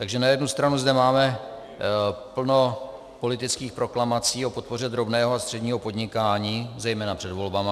Takže na jednu stranu zde máme plno politických proklamací o podpoře drobného a středního podnikání, zejména před volbami.